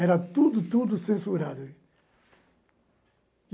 Era tudo, tudo censurado.